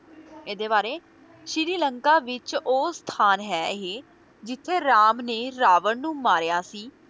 ਇਹਦੇ ਬਾਰੇ ਸ਼੍ਰੀ ਲੰਕਾ ਵਿੱਚ ਉਹ ਸਥਾਨ ਹੈ ਇਹ ਜਿੱਥੇ ਰਾਮ ਨੇ ਰਾਵਣ ਨੂੰ ਮਾਰਿਆ ਸੀ,